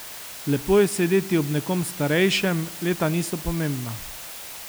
Lepo je sedeti ob nekom starejšem, leta niso pomembna.